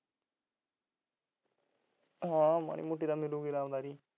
ਹਾਂ ਮਾੜੀ ਮੋਟੀ ਤਾਂ ਮਿਲੂਗੀ ਰਾਮਦਾਰੀ